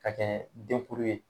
Ka kɛ denkuru ye